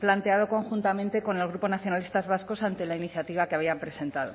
planteado conjuntamente con el grupo nacionalistas vascos ante la iniciativa que habían presentado